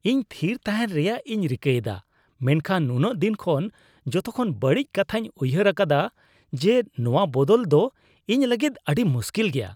ᱤᱧ ᱛᱷᱤᱨ ᱛᱟᱦᱮᱱ ᱨᱮᱭᱟᱜ ᱤᱧ ᱨᱤᱠᱟᱹᱭᱮᱫᱟ ᱢᱮᱱᱠᱷᱟᱱ ᱱᱩᱱᱟᱹᱜ ᱫᱤᱱ ᱠᱷᱚᱱ ᱡᱚᱛᱚᱠᱷᱚᱱ ᱵᱟᱹᱲᱤᱡ ᱠᱟᱛᱷᱟᱧ ᱩᱭᱦᱟᱹᱨ ᱟᱠᱟᱫᱼᱟ ᱡᱮ ᱱᱚᱣᱟ ᱵᱚᱫᱚᱞ ᱫᱚ ᱤᱧ ᱞᱟᱹᱜᱤᱫ ᱟᱹᱰᱤ ᱢᱩᱥᱠᱤᱞ ᱜᱮᱭᱟ ᱾